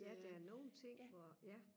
ja der er nogle ting hvor ja